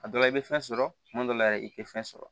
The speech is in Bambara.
A dɔ la i bɛ fɛn sɔrɔ tuma dɔ la yɛrɛ i tɛ fɛn sɔrɔ